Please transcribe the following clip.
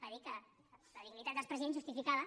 va dir que la dignitat dels presidents justificava